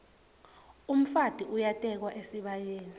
umfati uyatekwa esibayeni